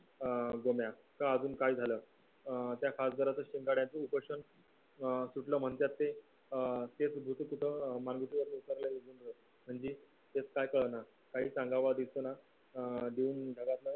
अं गोम्या का अजून काय झालं अं त्या खासदाराचा शिंदोळ्याचे उपोषण अं सुटला म्हणत्यात ते अं म्हणजे त्यात काही कळना काय सांगाव दिसना अं दोन जगातलं